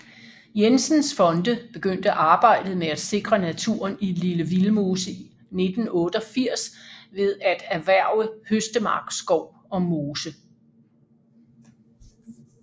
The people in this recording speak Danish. Jensens Fonde begyndte arbejdet med at sikre naturen i Lille Vildmose i 1988 ved at erhverve Høstemark Skov og Mose